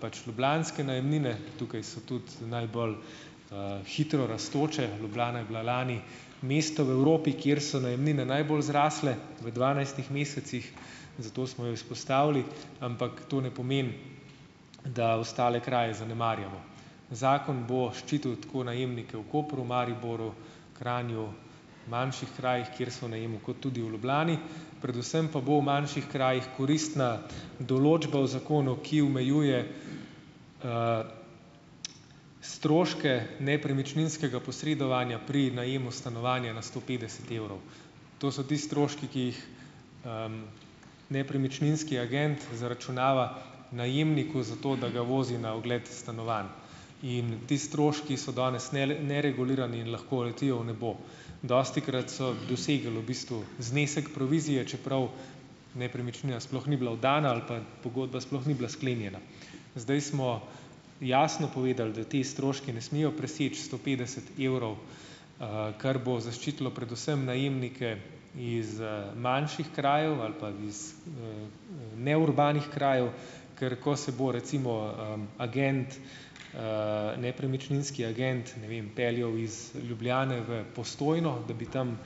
pač ljubljanske najemnine, tukaj so tudi najbolj, hitro rastoče, Ljubljana je bila lani mesto v Evropi, kjer so najemnine najbolj zrasle v dvanajstih mesecih, zato smo jo izpostavili, ampak to ne pomeni, da ostale kraje zanemarjamo, zakon bo ščitil tako najemnike v Kopru, Mariboru, Kranju, manjših krajih, kjer so v najemu, kot tudi v Ljubljani, predvsem pa bo v manjših krajih koristna določba o zakonu, ki omejuje, stroške nepremičninskega posredovanja pri najemu stanovanja na sto petdeset evrov, to so ti stroški, ki jih, nepremičninski agent zaračunava najemniku, zato da ga vozi na ogled stanovanj, in ti stroški so danes neregulirani in lahko letijo v nebo, dostikrat so dosegli v bistvu znesek provizije, čeprav nepremičnina sploh ni bila oddana ali pa pogodba sploh ni bila sklenjena, zdaj smo jasno povedali, da ti stroški ne smejo preseči sto petdeset evrov, kar bo zaščitilo predvsem najemnike iz, manjših krajev ali pa iz, neurbanih krajev, ker ko se bo recimo, agent, nepremičninski agent, ne vem, peljal iz Ljubljane v Postojno, da bi tam,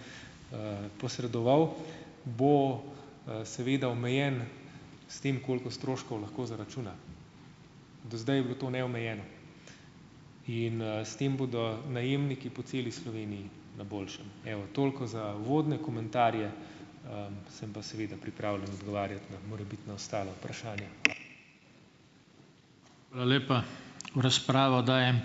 posredoval, bo, seveda omejen s tem, koliko stroškov lahko zaračuna, do zdaj je bilo to neomejeno, in, s tem bodo najemniki po celi Sloveniji na boljšem, evo, toliko za uvodne komentarje, sem pa seveda pripravljen odgovarjati na morebitna ostala vprašanja. Hvala lepa. V razpravo dajem ...